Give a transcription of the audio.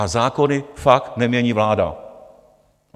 A zákony fakt nemění vláda.